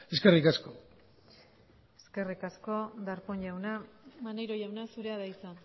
eskerrik asko eskerrik asko darpón jauna maneiro jauna zurea da hitza